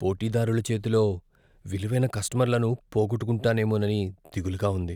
పోటీదారుల చేతిలో విలువైన కస్టమర్లను పోగొట్టుకుంటామేమోనని దిగులుగా ఉంది.